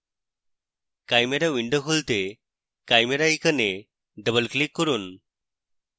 chimera window খুলতে chimera icon double click করুন